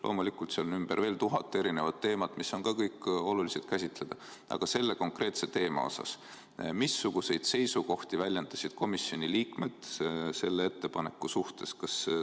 Loomulikult, seal ümber on veel tuhat erinevat teemat, mis on ka kõik olulised käsitleda, aga selle konkreetse teema osas: missuguseid seisukohti väljendasid komisjoni liikmed selle ettepaneku suhtes?